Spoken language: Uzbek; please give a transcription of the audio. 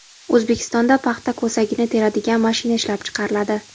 O‘zbekistonda paxta ko‘sagini teradigan mashina ishlab chiqariladi.